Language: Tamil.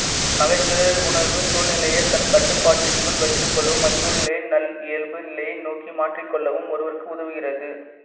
நகைச்சுவை உணர்வு சூழ்நிலையை தன் கட்டுப்பாட்டிற்குள் வைத்துக் கொள்ளவும் அச்சூழ்நிலையை நல்லியல்பு நிலையை நோக்கி மாற்றிக்கொள்ளவும் ஒருவருக்கு உதவுகிறது